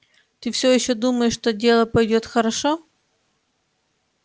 ты всё ещё думаешь что дело пойдёт хорошо